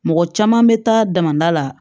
Mɔgɔ caman bɛ taa damada la